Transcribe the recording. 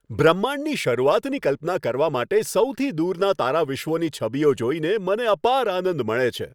બ્રહ્માંડની શરૂઆતની કલ્પના કરવા માટે સૌથી દૂરના તારાવિશ્વોની છબીઓ જોઈને મને અપાર આનંદ મળે છે.